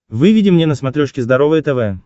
выведи мне на смотрешке здоровое тв